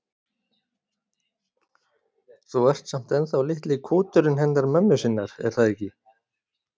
Þú ert samt ennþá litli kúturinn hennar mömmu sinnar, er það ekki?